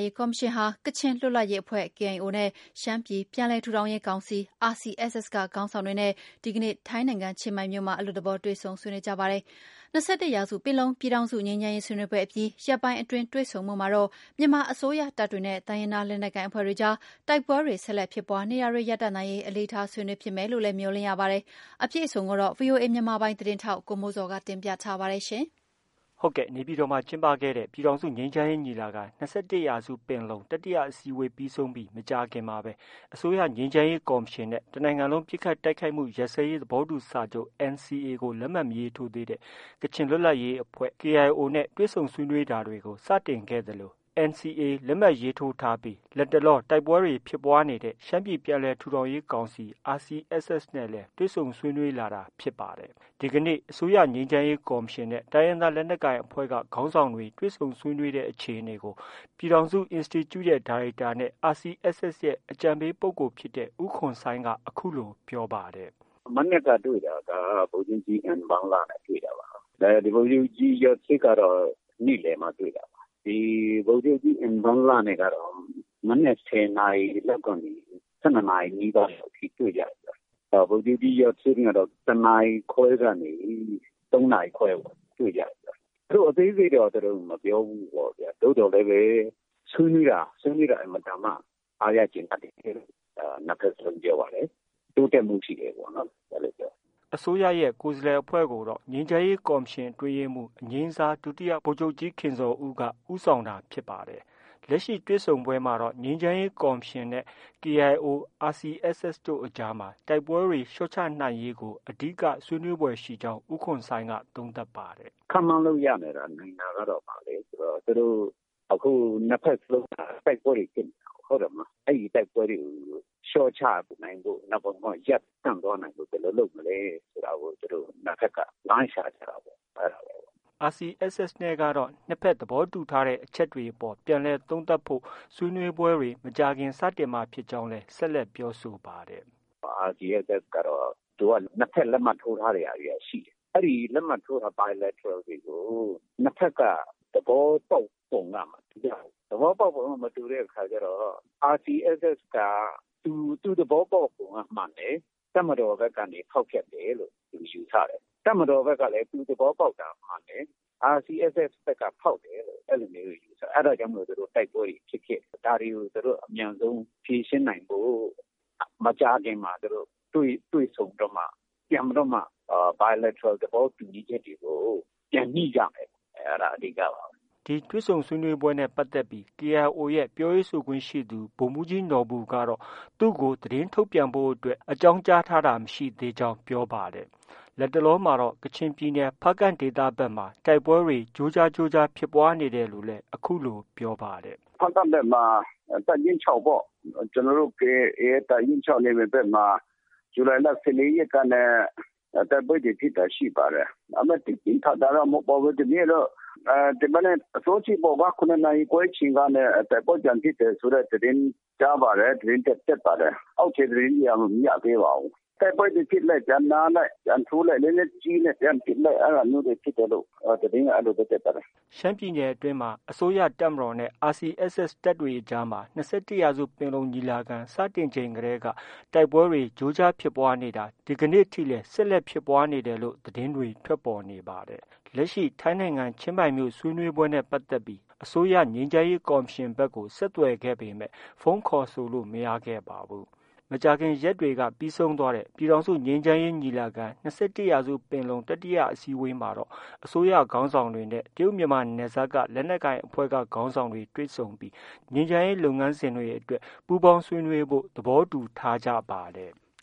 ရေးကော်မရှင်ဟာ ကချင်လွတ်လပ်ရေးအဖွဲ့ KIO နဲ့ ရှမ်းပြည်ပြန်လည် ထူထောင်ရေး ကောင်စီ RCSS က ခေါင်းဆောင်တွေနဲ့ ဒီ ကနေ့ ထိုင်းနိုင်ငံချင်းမိုင်မြို့မှာ အလွတ်သဘော တွေ့ဆုံဆွေးနွေး ကြပါတယ်။ ၂၁ ရာစုပင်လုံ ပြည်ထောင်စု ငြိမ်းချမ်းရေး ဆွေးနွေးပွဲအပြီး ရက်ပိုင်းအတွင်း တွေ့ဆုံမှုမှာတော့ မြန်မာအစိုးရတပ်တွေနဲ့ တိုင်းရင်းသား လက်နက်ကိုင် အဖွဲ့တွေကြား တိုက်ပွဲတွေ ဆက်လက်ဖြစ်ပွားနေတာတွေ ရပ်တန့်နိုင်ရေး အလေးထား ဆွေးနွေးဖြစ်မယ်လို့လည်း မျှော်လင့်ရပါတယ်။ အပြည့်အစုံကိုတော့ ဗွီအိုအေ မြန်မာပိုင်းသတင်းထောက် ကိုမိုးဇော်က တင်ပြထားပါတယ်။ နေပြည်တော်မှာ ကျင်းပတဲ့ ပြည်ထောင်စုငြိမ်းချမ်းရေးညီလာခံ- ၂၁ ရာစုပင်လုံ တတိယ အစည်းအဝေး ပြီး ဆုံးပြီး မကြာခင်မှာပဲ အစိုးရငြိမ်းချမ်းရေးကော်မရှင်နဲ့ တနိုင်ငံလုံးပစ်ခတ် တိုက်ခိုက်မှုရပ်စဲရေး သဘောတူ စာချုပ် NCA ကို လက်မှတ် မရေးထိုးသေးတဲ့ ကချင်လွတ်လပ်ရေးအဖွဲ့ KIO နဲ့ တွေ့ဆုံဆွေးနွေးတာကို စတင် ခဲ့သလို လက်မှတ်ရေးထိုးထားပြီး လတ်တလောတိုက်ပွဲတွေ ဖြစ်ပွားနေတဲ့ ရှမ်းပြည် ပြန်လည် ထူထောင်ရေး ကောင်စီ RCSS တွေ့ဆုံ ဆွေးနွေးလာတာ ဖြစ်ပါတယ်။ ဒီကနေ့ အစိုးရ ငြိမ်းချမ်းရေးကော်မရှင် နဲ့ တိုင်းရင်းသားလက်နက်ကိုင်အဖွဲ့က ခေါင်းဆောင်တွေ တွေ့ဆုံ ဆွေးနွေးတဲ့ အခြေအနေကို ပြည်ထောင်စုအင်စတီကျု ဒါရိုက်တာနဲ့ RCSS ရဲ့ အကြံပေးပုဂ္ဂိုလ်ဖြစ်တဲ့ ဦးခွန်ဆိုင်းက အခုလို ပြောပါတယ်။ “မနက်က တွေ့တာက ဗိုလ်ချုပ်ကြီး အင်ဘန်လနဲ့ တွေ့တာပါ။ ဗိုလ်ချုပ်ကြီး ယွတ်ဆစ်ကတော့ နေ့လည်မှဗိုလ်ချုပ်ကြီးအင်ဘန်လနဲ့က မနက် ၁၀ နာရီကနေ ၁၂ နာရီနီးပါးအထိ တွေ့ကြတယ်။ ဗိုလ်ချုပ်ကြီး ယွတ်ဆစ် နဲ့ကတော့ ၁ နာရီခွဲ ကနေ ၃ နာရီခွဲအထိတွေ့ကြတယ်။ သူတို့ အသေးစိတ်တော့ မပြောဘူးပေါ့ဗျာ။ သို့သော် လည်းပဲ ဆွေးနွေးတာ အင်မတန်မှ အားရကျေနပ်တယ်လို့ နှစ်ဖက်စလုံး ပြောပါတယ်။ တိုးတက်မှု ရှိတယ်ပေါ့ နော်။ အဲလို ပြောတယ်။” အစိုးရရဲ့ ကိုယ်စားလှယ်အဖွဲ့ကိုတော့ ငြိမ်းချမ်းရေးကော်မရှင် အတွင်းရေးမှုး အငြိမ်းစား ဒုတိယဗိုလ်ချုပ်ကြီး ခင်ဇော်ဦးက ဦးဆောင်တာဖြစ်ပါတယ်။ လက်ရှိ တွေ့ဆုံပွဲမှာတော့ ငြိမ်းချမ်းရေးကော်မရှင်နဲ့ KIO၊ RCSS တို့အကြားမှာ တိုက်ပွဲတွေ လျော့ချနိုင်ရေးကို အဓိက ဆွေးနွေးဖွယ်ရှိကြောင်း ဦးခွန်ဆိုင်းက သုံးသပ်ပါတယ်။ “ခန့်မှန်းလို့ရနိုင်တာက ဘာလဲဆိုတော့ အခု နှစ်ဘက်စလုံးက တိုက်ပွဲတွေ ဖြစ်နေတာကိုး။ အဲဒီတိုက်ပွဲတွေကို လျှော့ချနိုင်ဖို့၊ ဒါမှမဟုတ် ရပ်တန့်သွားနိုင်ဖို့ ဘယ်လိုလုပ်မလဲဆိုတာကို သူတို့ နှစ်ဘက်က လမ်းရှာကြတာပေါ့ အဲဒါပါပဲ။” RCSS နဲ့ကတော့ နှစ်ဘက်သဘောတူထားတဲ့အချက်တွေအပေါ် ပြန်လည် သုံးသပ်ဖို့ ဆွေးနွေးပွဲတွေ မကြာခင်စတင်မှာဖြစ်ကြောင်း ပြောပါတယ်။ “RCSS ကတော့ သူက နှစ်ဘက်လက်မှတ်ထိုးထားတဲ့ဟာတွေက ရှိတယ်။ အဲဒီ လက်မှတ်ထိုးထားတဲ့ Bilateral တွေကို နှစ်ဘက်က သဘောတူချက်က မတူကြ ဘူး။ သဘောပေါက်ပုံက မတူတဲ့အခါကျတော့ RCSS က သူ သဘောပေါက်ပုံက မှန်တယ်။ တပ်မတော်ဖက်က ဖောက်ဖျက်တယ်လို့ ယူဆတယ်။ တပ်မတော် ဖက်ကလည်း သူသဘောပေါက်တာမှန်တယ်။ RCSS ဖက်က ဖောက်တယ်လို့ ယူဆတယ်။ အဲဒါကြောင့် တိုက်ပွဲတွေ ဖြစ်ဖြစ် နေတာ။ ဒါတွေကို သူတို့ အမြန်ဆုံး ဖြေရှင်းနိုင်ဖို့ မကြာခင်မှာ တွေ့ဆုံပြီးတော့မှ ပြန်ပြီးတော့မှာ Bilateral သဘောတူညီချက်တွေကို ပြန်ညှိကြမယ်။ အဲဒါ အဓိကပါပဲ။ ” ဒီတွေ့ဆုံဆွေးနွေးပွဲနဲ့ပတ်သက်ပြီး KIO ရဲ့ ပြောရေးဆိုခွင့်ရှိသူ ဗိုလ်မှူးကြီး နော်ဘူကတော့ သူ့ကို သတင်းထုတ် ပြန်ဖို့အတွက် အကြောင်းကြားထားတာ မရှိသေးကြောင်း ပြောပါတယ်။ လတ်တလောမှာတော့ ကချင်ပြည်ဖားကန့်ဒေသဖက်မှာ တိုက်ပွဲတွေ ကြိုးကြား ဖြစ်နေတယ်လို့လည်း အခုလို ပြောပါတယ်။ “ဖားကန့်ဖက်မှာ တပ်ရင်း ၆ ပေါ့။ ကျနော်တို့ KIA ရဲ့ တပ်ရင်း ၆ နယ်မြေဖက်မှာ ဇူလိုင်လ ၁၄ ရက်က တိုက်ပွဲ တွေ ဖြစ်တာရှိပါတယ်။ ဒါပေမဲ့ သိပ်ပြင်းပြင်း ထန်ထန်တော့ မဟုတ်ပါဘူး။ ဒီနေ့တော့ ဒီမနက် အစောကြီးပေါ့ ကွာ။ ၇ နာရီခွဲ အချိန်ကနေ တိုက်ပွဲပြန်ဖြစ်တယ်ဆိုတဲ့သတင်း ကြားပါတယ်။ သတင်းတက် ပါတယ်။ အောက်ခြေ သတင်းတွေက မရသေးပါဘူး။ တိုက်ပွဲတွေဖြစ်လိုက် ပြန်နားလိုက် ပြန်ထိုးလိုက် လက်နက်ကြီးနဲ့ပစ်လိုက် အဲဒါမျိုးတွေဖြစ်တယ်လို့ သတင်းက အဲလို တက်ပါတယ်။” ရှမ်းပြည်နယ်အတွင်းမှာလည်း အစိုးရတပ်မတော်နဲ့ RCSS တပ်တွေအကြားမှာ ၂၁ရာစုပင်လုံ ညီလာခံ စတင် ချိန်တည်းက တိုက်ပွဲတွေ ကြိုးကြားဖြစ်ပွားနေတာ ဒီကနေ့ထိလည်း ဖြစ်ပွားနေတယ်လို့ သတင်းတွေ ထွက် ပေါ်နေပါတယ်။ လက်ရှိ ထိုင်းနိုင်ငံချင်းမိုင်မြို့ ဆွေးနွေးပွဲနဲ့ပတ်သက်ပြီး အစိုးရ ငြိမ်းချမ်းရေး ကော်မရှင်ဘက်ကို ဆက်သွယ်ခဲ့ ပေမဲ့ ဖုန်း ခေါ်ဆိုလို့ မရခဲ့ပါဘူး။ မကြာခင်ရက်တွေက ပြီးဆုံးသွားတဲ့ ပြည်ထောင်စုငြိမ်းချမ်းရေးညီလာခံ ၂၁ ရာစု ပင်လုံ တတိယ အစည်းအဝေး မှာတော့ အစိုးရခေါင်းဆောင်တွေနဲ့ တရုတ်မြန်မာ နယ်စပ်က လက်နက်ကိုင်အဖွဲ့က ခေါင်းဆောင်တွေ တွေ့ ဆုံပြီး ငြိမ်းချမ်းရေး လုပ်ငန်းစဉ်အတွက် ပူးပေါင်းဆွေးနွေးဖို့ သဘောတူထားကြပါတယ်။